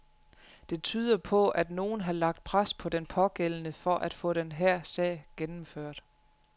Det tyder på, at nogen har lagt pres på den pågældende for at få den her sag gennemført.